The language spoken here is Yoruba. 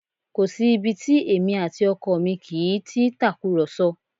Kò sí ibi tí èmi àti ọkọ mi kì í ti í tàkùrọ̀sọ